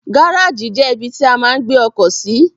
Gáràjì jẹ́ ibi tí a máa ń gbé ọkọ̀ sí.